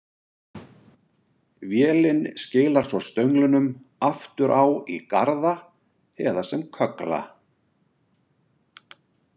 Vélin skilar svo stönglunum aftur á í garða eða sem köggla.